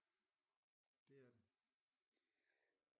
Det er det